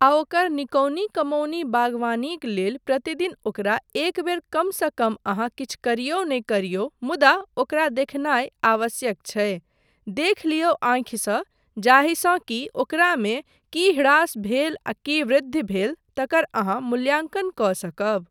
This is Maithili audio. आ ओकर निकौनी कमौनी बागवानीक लेल प्रतिदिन ओकरा एक बेर कमसँ कम अहाँ किछु करियौ नहि करियौ मुदा ओकरा देखनाय आवश्यक छै, देख लियौ आँखिसँ जाहिसँ कि ओकरामे की ह्रास भेल आ की वृद्धि भेल तकर अहाँ मूल्याङ्कन कऽ सकब।